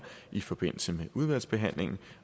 i forbindelse med udvalgsbehandlingen